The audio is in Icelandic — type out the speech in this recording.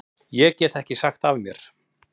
Ég get ekki sagt af mér.